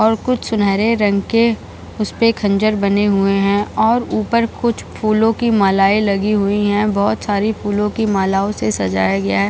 और कूछ सुनहरे रंग के उसपे खंजर बने हुए हैं और ऊपर कुछ फूलो की मालाएं लगी हुई हैं बहोत सारी फूलो की मालाओ से सजाया गया है।